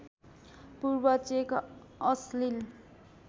पूर्व चेक अश्लिल